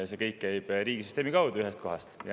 See kõik käib riigisüsteemi kaudu ühest kohast.